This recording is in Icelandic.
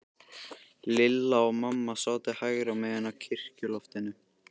Lilla og amma sátu hægra megin á kirkjuloftinu.